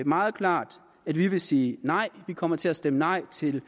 meget klart at vi vil sige nej vi kommer til at stemme nej til